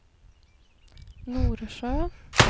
Norsjö